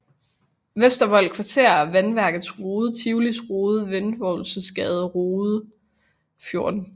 Vestervold Kvarter Vandværkets Rode Tivolis Rode Reventlowsgades Rode 14